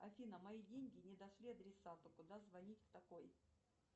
афина мои деньги не дошли адресату куда звонить в такой